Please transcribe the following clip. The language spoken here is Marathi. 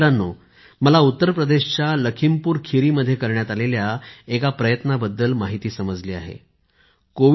मित्रांनो मला उत्तर प्रदेशच्या लखीमपुरखीरी मध्ये करण्यात आलेल्या एका प्रयत्नाबद्दल माहिती समजली आहे